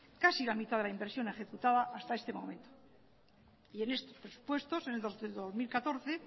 casi la mitad de la inversión ejecutada hasta este momento y en estos presupuestos en los del dos mil catorce